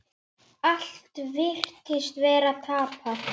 Allt virtist vera tapað.